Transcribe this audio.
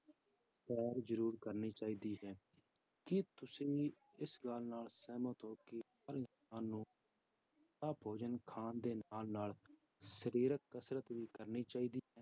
ਸੈਰ ਜ਼ਰੂਰ ਕਰਨੀ ਚਾਹੀਦੀ ਹੈ, ਕੀ ਤੁਸੀਂ ਇਸ ਗੱਲ ਨਾਲ ਸਹਿਮਤ ਹੋ ਕਿ ਹਰ ਇਨਸਾਨ ਨੂੰ ਭੋਜਨ ਖਾਣ ਦੇ ਨਾਲ ਨਾਲ ਸਰੀਰਕ ਕਸ਼ਰਤ ਵੀ ਕਰਨੀ ਚਾਹੀਦੀ ਹੈ।